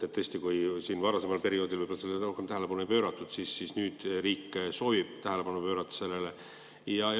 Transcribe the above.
Tõesti, kui varasemal perioodil võib-olla sellele palju tähelepanu ei pööratud, siis nüüd riik soovib sellele tähelepanu pöörata.